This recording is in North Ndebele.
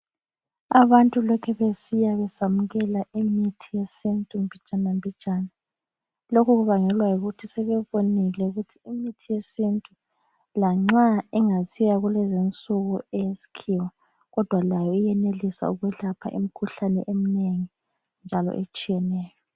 Abantu lokhu besiya besamukela imithi yesintu mbijanambijana. Lokhu kubangelwa yikuthi sebebonile ukuthi imithi yesintu lanxa ingasiyo yalezinsuku eyesikhiwa kodwa layo iyenelisa ukwelapha imikhuhlane eminengi njalo etshiyeneyo.